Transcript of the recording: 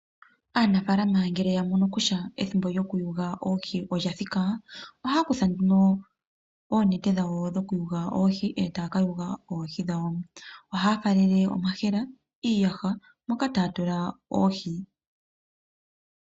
Aanafaalama ngele yamono kutya ethimbo lyokuyuga oohi olya thika, ohaya kutha nduno oonete dhawo dhoku yuga oohi e ta ya ka yuga oohi dhawo. Ohaya faalele omayemele , iiyaha moka ta ya tula oohi.